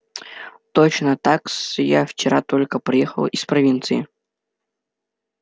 точно так-с я вчера только приехала из провинции